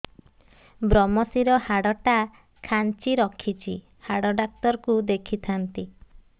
ଵ୍ରମଶିର ହାଡ଼ ଟା ଖାନ୍ଚି ରଖିଛି ହାଡ଼ ଡାକ୍ତର କୁ ଦେଖିଥାନ୍ତି